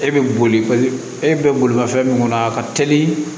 E bɛ boli e bɛ bolimafɛn min kɔnɔ a ka teli